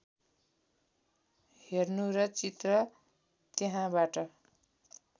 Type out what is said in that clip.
हेर्नु र चित्र त्यहाँबाट